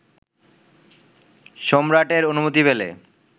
সম্রাটের অনুমতি পেলে